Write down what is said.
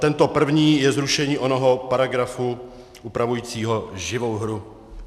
Tento první je zrušení onoho paragrafu upravujícího živou hru.